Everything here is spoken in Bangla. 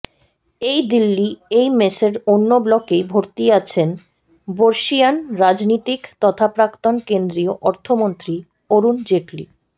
এই দিল্লি এইমসের অন্য ব্লকেই ভর্তি আছেন বর্ষীয়ান রাজনীতিক তথা প্রাক্তন কেন্দ্রীয় অর্থমন্ত্রী অরুণ জেটলি